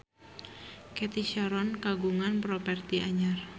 Cathy Sharon kagungan properti anyar